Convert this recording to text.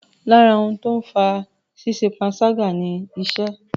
Lára ohun tó ń fa ṣíṣẹ panṣágà ni ìṣẹ́.